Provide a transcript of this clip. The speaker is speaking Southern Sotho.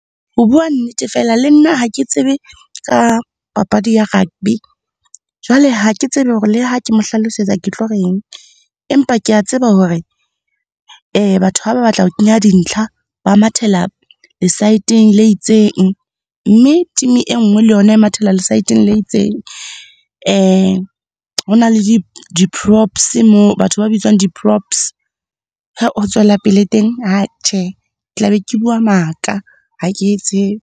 Ho bua nnete fela, le nna ha ke tsebe ka papadi ya rugby. Jwale ha ke tsebe hore le ha ke mo hlalosetsa ke tlo reng. Empa kea tseba hore batho ha ba batla ho kenya dintlha, ba mathela lesaeteng le itseng mme team e nngwe le yona e mathela lesaeteng le itseng. Hona le di moo, batho ba bitswang di . Ho tswela pele teng tjhe, tla be ke bua maka, ha ke e tsebe.